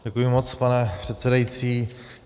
Děkuji moc, pane předsedající.